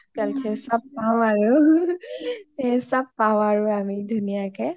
culture চব পাও আৰু এই চব পাও আৰু আমি ধুনীয়া কে